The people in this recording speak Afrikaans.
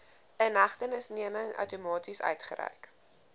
inhegtenisneming outomaties uitgereik